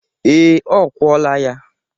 Ee, ọ kwọla ya.